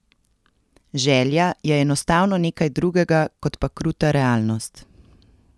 Želja je enostavno nekaj drugega kot pa kruta realnost.